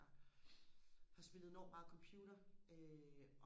der har spillet enormt meget computer øh